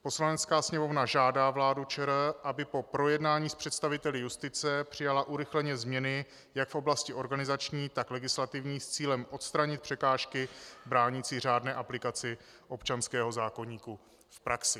Poslanecká sněmovna žádá vládu ČR, aby po projednání s představiteli justice přijala urychleně změny jak v oblasti organizační, tak legislativní, s cílem odstranit překážky bránící řádné aplikaci občanského zákoníku v praxi."